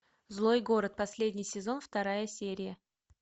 злой город последний сезон вторая серия